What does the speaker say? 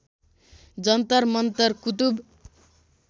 Jantar Mantar Qutub